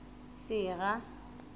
sera